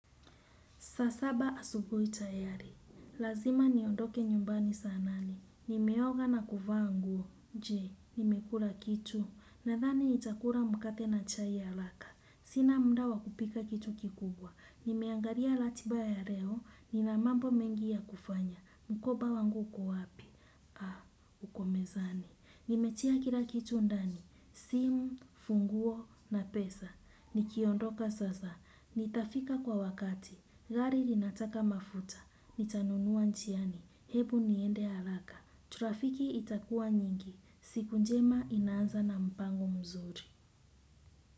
Saa saba asubuhi tayari. Lazima niondoke nyumbani saa nane. Nimeoga na kuvaa nguo. Je, nimekula kitu. Nadhani nitakula mkate na chai ya haraka. Sina muda wa kupika kitu kikubwa. Nimeangalia ratiba ya leo. Nina mambo mengi ya kufanya. Mkoba wangu uko wapi, uko mezani nimetua kila kitu ndani. Simu, funguo na pesa. Nikiondoka sasa. Nitafika kwa wakati. Gari linataka mafuta, nitanunua njiani hebu niende haraka. Trafiki itakua nyingi siku njema inaanza na mpango mzuri.